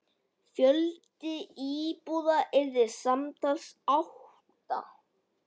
Fjöldi íbúða yrði samtals átta.